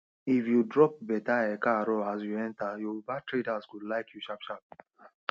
if you drop better ekaaro as you enter yoruba traders go like you sharpsharp